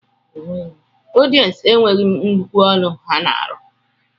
Ọdiyencu enweghim nnukwu ọlụ ha na alụ.